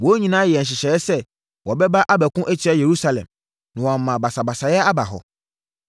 Wɔn nyinaa yɛɛ nhyehyɛeɛ sɛ wɔbɛba abɛko atia Yerusalem, na wɔama basabasayɛ aba hɔ.